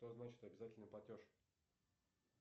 что значит обязательный платеж